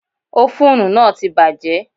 Ófúnù náà ti bàjẹ́.